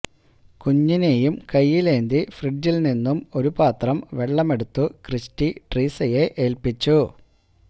കുഞ്ഞിനെയും കയ്യിലേന്തി ഫ്രിഡ്ജില് നിന്നും ഒരു പാത്രം വെള്ളമെടുത്തു ക്രിസ്റ്റി ട്രീസയെ ഏല്പിച്ചു